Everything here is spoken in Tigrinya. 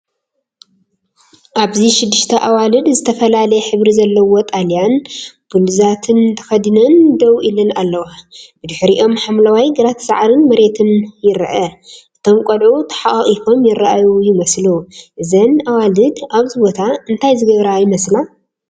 ኣብዚ ሽዱሽተ ኣዋልድ ዝተፈላለየ ሕብሪ ዘለዎ ማልያን ብሉዛትን ተኸዲነን ደው ኢለን ኣለዋ። ብድሕሪኦም ሓምላይ ግራት ሳዕርን መሬትን ይርአ። እቶም ቆልዑ ተሓቛቚፎም ይራኣዩ ይመስሉ። እዘን ኣዋልድ ኣብዚ ቦታ እንታይ ዝገብራ ይመስላ?